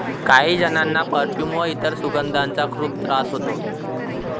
काही जणांना परफ्यूम व इतर सुगंधांचा खूप त्रास होतो.